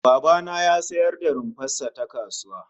Baba na ya sayar da rumfar sa ta kasuwa